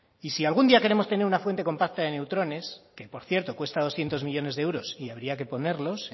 y si algún día queremos tener una fuente compacta de neutrones que por cierto cuesta doscientos millónes de euros y habría que ponerlos